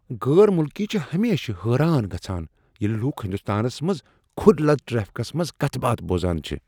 غیر ملکی چھِ ہمیشہ حیران گژھان ییلہِ لوٗکھ ہندوستانس منٛز کھُرۍ لد ٹرٛیفکس منٛز کتھٕ باتھ بوزان چھِ۔